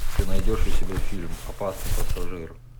ты найдешь у себя фильм опасный пассажир